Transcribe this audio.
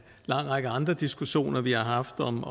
lang række andre diskussioner vi har haft om